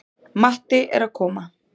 Matti er að koma!